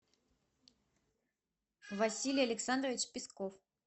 василий александрович песков